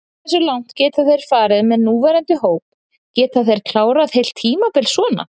Hversu langt geta þeir farið með núverandi hóp, geta þeir klárað heilt tímabil svona?